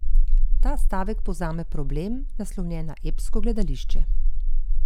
Ta stavek povzame problem, naslovljen na epsko gledališče.